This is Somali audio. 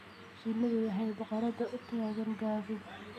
Shinnidu waxay boqoradda u taqaan gabadh.